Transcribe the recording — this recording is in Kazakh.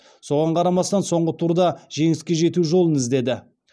соған қарамастан соңғы турда жеңіске жету жолын іздеді